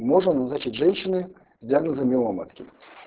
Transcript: можно назначить женщине с диагнозом миома матки